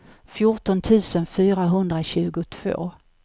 fjorton tusen fyrahundratjugotvå